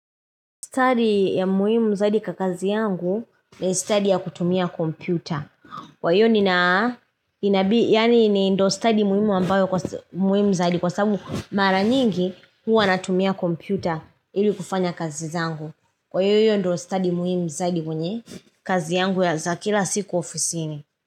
Study ya muhimu zaidi kakazi yangu, ni study ya kutumia kompyuta. Kwa hiyo nina inabi yani ni ndo study muhimu ambayo kwa st muhimu zaidi. Kwa sabu, mara nyingi, huwa natumia kompyuta, ili kufanya kazi zangu. Kwa hiyo hiyo ndo study muhimu zaidi kwenye, kazi yangu ya za kila siku ofisini.